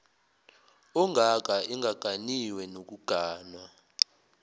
ongaka engaganiwe nokuganwa